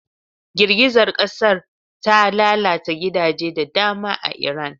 Girgizar kasar ta lalata gidaje da dama a Iran.